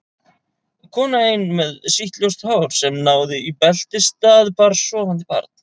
Kona ein með sítt ljóst hár sem náði í beltisstað, bar sofandi barn.